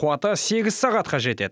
қуаты сегіз сағатқа жетеді